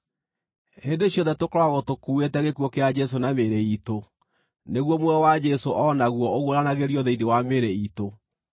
Hĩndĩ ciothe tũkoragwo tũkuuĩte gĩkuũ kĩa Jesũ na mĩĩrĩ iitũ, nĩguo muoyo wa Jesũ o naguo ũguũranagĩrio thĩinĩ wa mĩĩrĩ iitũ.